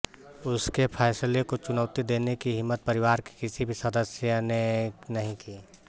उसके फैसले को चुनौती देने की हिम्मत परिवार के किसी भी सदस्य ने नहीं की